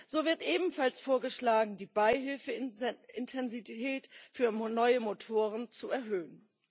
So wird ebenfalls vorgeschlagen, die Beihilfeintensität für neue Motoren zu erhöhen.